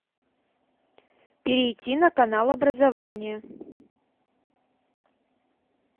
перейти на канал образование